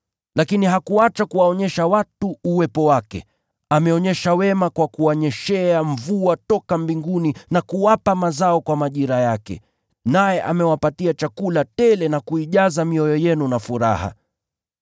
Lakini hakuacha kuwaonyesha watu uwepo wake: Ameonyesha wema kwa kuwanyeshea mvua toka mbinguni na kuwapa mazao kwa majira yake, naye amewapa chakula tele na kuijaza mioyo yenu na furaha.”